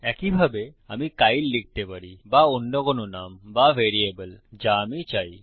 একই ভাবে আমি কাইল লিখতে পারি বা অন্য কোন নাম বা ভ্যারিয়েবল যা আমি চাই